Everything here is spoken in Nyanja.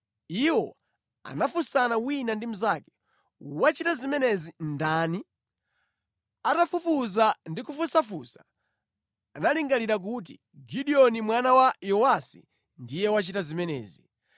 Iwo anafunsana wina ndi mnzake, “Wachita zimenezi ndani?” Atafufuza ndi kufunsafunsa, analingalira kuti, “Gideoni mwana wa Yowasi ndiye wachita zimenezi.”